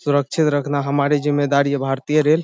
सुरक्षित रखना हमारी जिम्मेदारी है भारतीय रेल --